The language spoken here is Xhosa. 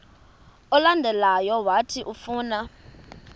olandelayo owathi ufuna